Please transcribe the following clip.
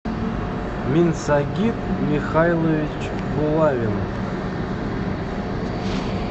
минсагит михайлович булавин